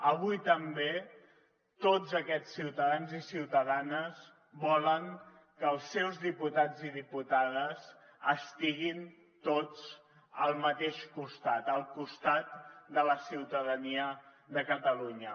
avui també tots aquests ciutadans i ciutadanes volen que els seus diputats i diputades estiguin tots al mateix costat al costat de la ciutadania de catalunya